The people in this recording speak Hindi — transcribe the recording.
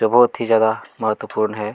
जो बहुत ही ज्यादा मत्वपूर्ण है।